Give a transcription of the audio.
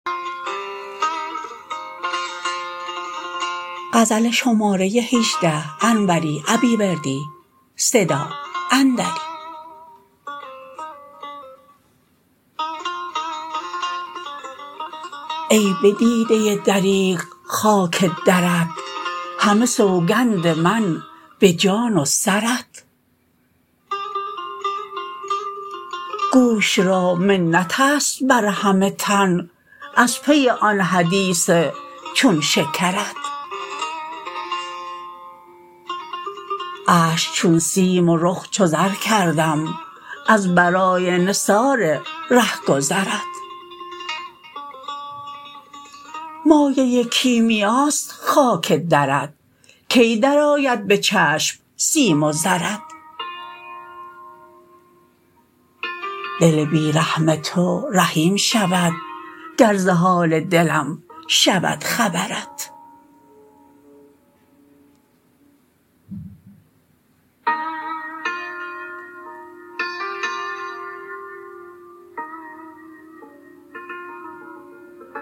ای به دیده دریغ خاک درت همه سوگند من به جان و سرت گوش را منتست بر همه تن از پی آن حدیث چون شکرت اشک چون سیم و رخ چو زر کردم از برای نثار رهگذرت مایه کیمیاست خاک درت کی درآید به چشم سیم و زرت دل بی رحم تو رحیم شود گر ز حال دلم شود خبرت